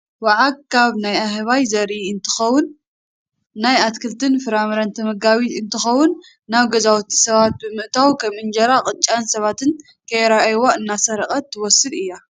ዋዓግ ካብ ናይ ኣህባይ ዘርኢ እንትኸውን ናይ ኣትክልትን ፍራፍረን ተመጋቢት እንትኾውን ናብ ገዛውቲ ሰባት ብምእታውን ከም እንጀራን ቅጫን ሰባት ከይረኣይዋ እናሰርቀት ትወስድ እያ።